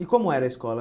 E como era a escola?